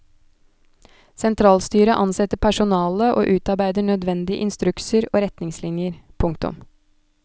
Sentralstyret ansetter personale og utarbeider nødvendige instrukser og retningslinjer. punktum